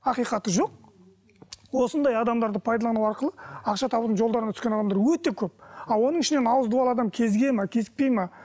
ақиқаты жоқ осындай адамдарды пайдалану арқылы ақша табудың жолдарына түскен адамдар өте көп а оның ішінен ауызы дуалы адам кезігеді ме кезіктпейді ме